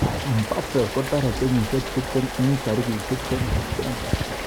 Mbappe kotarei kenyisiek 20 eng tarik20 Desemba.